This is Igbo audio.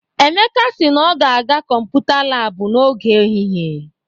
Emeka si na ọ ga-aga kọmputa laabụ n'oge ehihie.